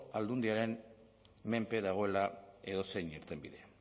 aldundiaren menpe dagoela edozein irtenbide